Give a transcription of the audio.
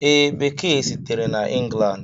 Ee, Bekee sitere na England.